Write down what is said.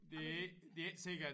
Det ikke det ikke sikkert